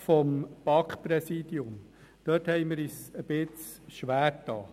Also zum BaK-Präsidium: Wir haben ein Luxusproblem.